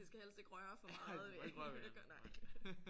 Det skal helst ikke røre for meget nej